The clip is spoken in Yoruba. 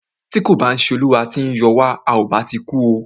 Tí kò bá ṣé olúwa tí o yọ wa,à o bá ti kú o.